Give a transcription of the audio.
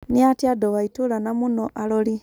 Nĩ atĩa andũ wa itũra na mũno arori.